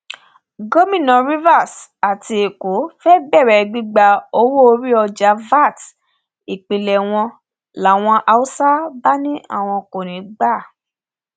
gomina rivers àti èkó fée bẹrẹ gbígba owóorí ọjà vat ìpínlẹ wọn làwọn haúsá bá láwọn kò ní í gbà